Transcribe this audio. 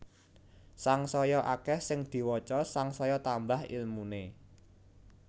Sangsaya akeh sing diwaca sangsaya tambah ilmune